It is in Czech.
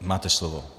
Máte slovo.